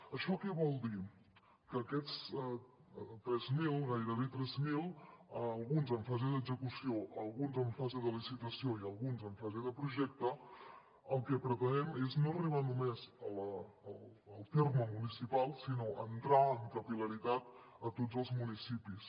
això què vol dir que amb aquests tres mil gairebé tres mil alguns en fase d’execució alguns en fase de licitació i alguns en fase de projecte el que pretenem és no arribar només al terme municipal sinó entrar amb capil·laritat a tots els municipis